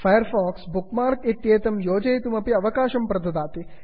fire fox bookmark इत्येतं योजयितुमपि अवकाशं प्रददाति